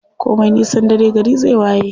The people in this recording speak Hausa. Komi nisan dare gari zai waye.